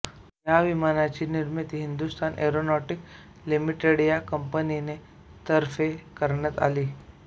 या विमानाची निर्मिती हिंदुस्तान एरोनॉटिक्स लिमिटेड या कंपनीने तर्फे करण्यात आली